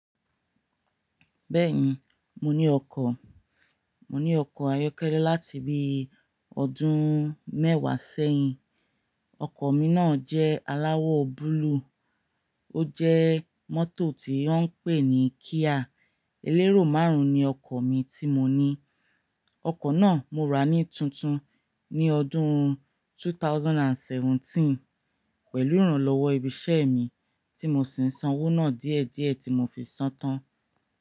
Bẹ́ẹ̀ni, mo ní ọkọ̀. Mo ní ọkọ̀ ayọ́kẹ́lẹ́ láti bí ọdún mẹ́wàá sẹ́yìn. Ọkọ̀ mi náà jẹ́ aláwọ̀ búlúù. Ó jẹ́ mọ́tò tí wọ́n ń pè ní Kia. Elérò márùn-ún ni ọkọ̀ mi tí mo ní. Ọkọ̀ náà mo rà á ní tuntun ní ọdún 2017 pẹ̀lú ìrànlọ́wọ́ ibiṣẹ́ mi tí mo sì ń san owó náà díẹ̀díẹ̀ tí mo fi san án tán.